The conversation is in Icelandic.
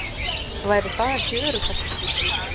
Væri það ekki öruggast?